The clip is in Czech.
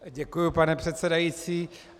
Děkuju, pane předsedající.